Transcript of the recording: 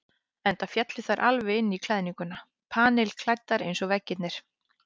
Enda féllu þær alveg inn í klæðninguna, panilklæddar eins og veggirnir.